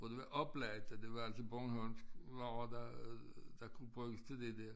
Hvor det var oplagt at det var altså bornholmsk lag der der kunne bruges til det der